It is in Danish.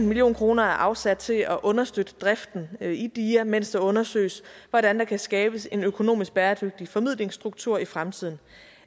million kroner er afsat til at understøtte driften i dia mens det undersøges hvordan der kan skabes en økonomisk bæredygtig formidlingsstruktur i fremtiden